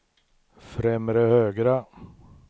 främre högra